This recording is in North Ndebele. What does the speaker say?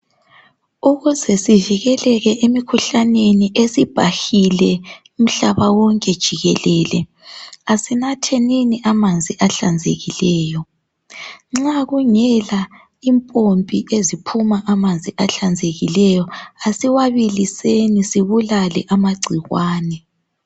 Ukuze sivikeleke emkhuhlaneni esibhahile umhlaba wonke jikelele, asinathenini amanzi ahlanzekileyo. Nxa kungela impompi eziphuma amanzi ahlanzekileyo asiwabiliseni sibulale amagcikwane.